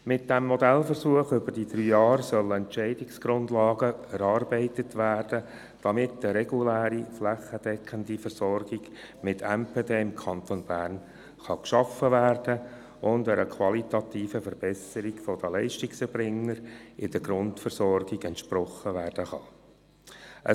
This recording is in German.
Mit diesem Modellversuch über drei Jahre sollen Entscheidungsgrundlagen erarbeitet werden, damit eine reguläre, flächendeckende Versorgung mit MPD im Kanton Bern geschaffen und einer qualitativen Verbesserung der Leistungserbringer in der Grundversorgung entsprochen werden kann.